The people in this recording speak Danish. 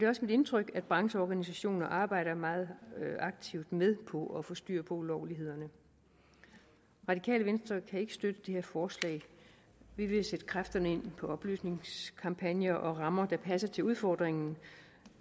også mit indtryk at brancheorganisationer arbejder meget aktivt med for at få styr på ulovlighederne radikale venstre kan ikke støtte det her forslag vi vil sætte kræfterne ind på oplysningskampagner og rammer der passer til udfordringen